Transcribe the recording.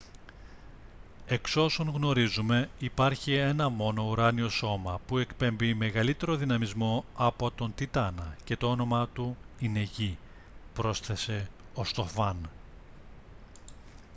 «εξ όσων γνωρίζουμε υπάρχει ένα μόνο ουράνιο σώμα που εκπέμπει μεγαλύτερο δυναμισμό από τον τιτάνα και το όνομά του είναι γη» πρόσθεσε ο στοφάν